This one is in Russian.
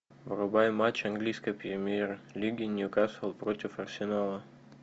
врубай матч английской премьер лиги ньюкасл против арсенала